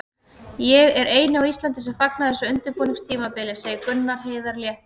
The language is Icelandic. Ég er eini á Íslandi sem fagna þessu undirbúningstímabili, segir Gunnar Heiðar léttur.